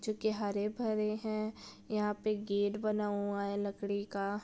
जो की हरे-भरे हैं यहां पे गेट बना हुआ है लकड़ी का ---